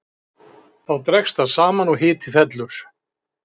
Þá dregst það saman og hiti fellur.